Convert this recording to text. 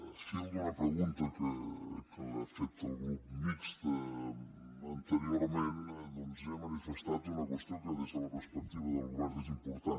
al fil d’una pregunta que ha fet el grup mixt anteriorment doncs he manifestat una qüestió que des de la perspectiva del govern és important